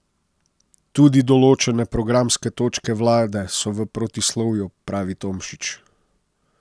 Tudi določene programske točke vlade so v protislovju, pravi Tomšič.